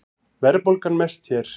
Verðbólgan mest hér